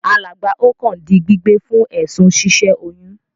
Alàgbà Okon di gbígbé fún èsùn si sẹ oyún